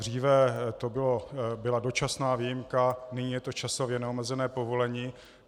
Dříve to byla dočasná výjimka, nyní je to časově neomezené povolení.